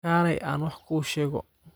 Kaalay aan wax kuu sheego